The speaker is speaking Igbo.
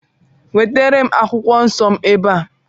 Wetere m Baịbụl m ebe a!